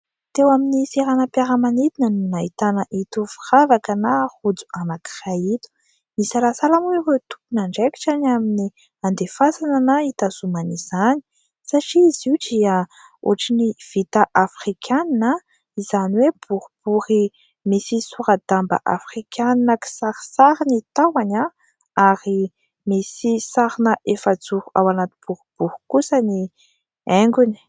teo amin'ny seranam-piaramanidina no nahitana itony firavaka na rojo anankiray itony, nisalasala moa ireo tompon' andraikitra ny amin'ny andefasana na hitazomana izany satria izy io dia ohatra ny vita Afrikana; izany hoe boribory misy sora-damba afrikanina kisarisary ny tahony ary misy sarina efajoro ao anaty boribory kosa ny haingony